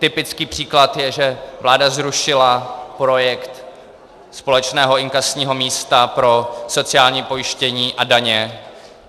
Typický příklad je, že vláda zrušila projekt společného inkasního místa pro sociální pojištění a daně.